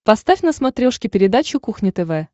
поставь на смотрешке передачу кухня тв